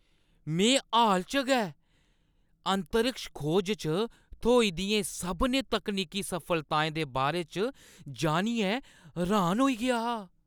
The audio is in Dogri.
में हाल च गै अंतरिक्ष खोज च थ्होई दियें सभनें तकनीकी सफलताएं दे बारे च जानियै र्‌हान होई गेआ हा।